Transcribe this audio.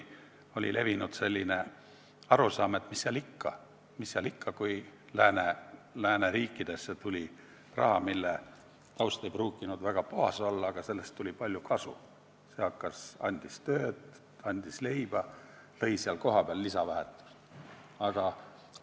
Varem, kui lääneriikidesse tuli raha, mille taust ei pruukinud väga puhas olla, aga sellest tuli palju kasu, see andis tööd ja leiba ning lõi kohapeal lisandväärtust, siis arvati, et mis seal ikka.